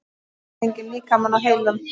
Hefurðu fengið líkamann á heilann?